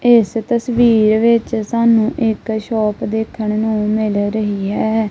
ਏਸ ਤਸਵੀਰ ਵਿੱਚ ਸਾਨੂੰ ਇੱਕ ਸ਼ੌਪ ਦੇਖਣ ਨੂੰ ਮਿਲ ਰਹੀ ਹੈ।